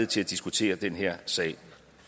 til at diskutere den her sag